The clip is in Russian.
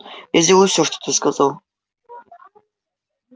я сделаю все что ты сказал